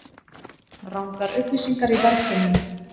Rangar upplýsingar í verðkönnun